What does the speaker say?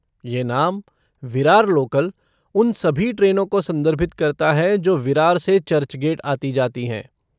ये नाम, विरार लोकल, उन सभी ट्रेनों को संदर्भित करता है जो विरार से चर्चगेट आती जाती हैं।